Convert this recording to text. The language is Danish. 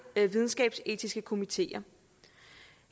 videnskabsetiske komiteer